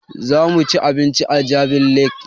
Za mu ci abinci a jabi lake mall